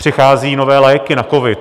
Přicházejí nové léky na covid.